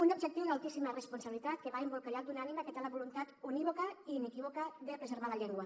un objectiu d’altíssima responsabilitat que va embolcallat d’una ànima que té la voluntat unívoca i inequívoca de preservar la llengua